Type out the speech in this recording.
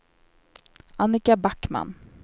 Annika Backman